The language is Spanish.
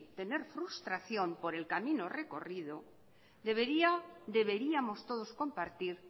tener frustración por el camino recorrido debería deberíamos todos compartir